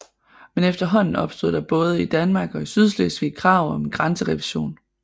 Men efterhånden opstod der både i Danmark og i Sydslesvig krav om en grænserevision